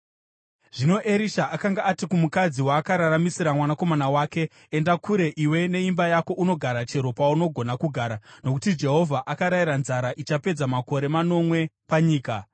Zvino Erisha akanga ati kumukadzi waakararamisira mwanakomana wake, “Enda kure iwe neimba yako unogara chero paunogona kugara, nokuti Jehovha akarayira nzara ichapedza makore manomwe panyika.”